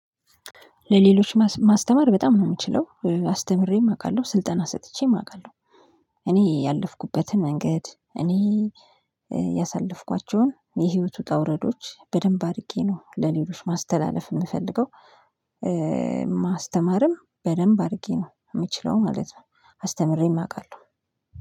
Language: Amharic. ለሌሎች ማስተማር በጣም ነው ምችለው አስተምሬም አውቃለሁ ስልጠና ሰጥቼም አውቃለሁ። እኔ ያለፍኩበትን መንገድ እኔ ያሳለፍኳቸውን የህይወት ውጣውረዶች በደንብ አርጌ ነው ለሌሎች ማስተላለፍ ምፈልገው። ማስተማርም በደንብ አርጌ ነው ምችለው ማለት ነው። አስተምሬም አውቃለሁ